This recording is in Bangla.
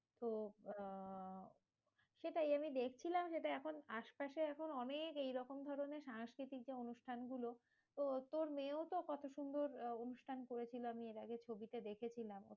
তো আহ সেটাই আমি দেখছিলাম যেটা এখন আশপাশে এখন অনেক এইরকম ধরণের সাংস্কৃতিক অনুষ্ঠান গুলো, তো তোর মেয়েও তো কত সুন্দর আহ অনুষ্ঠান করেছিল। আমি এর আগে ছবিতে দেখেছিলাম